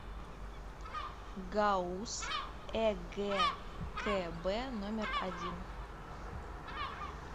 гауз эгкб номер один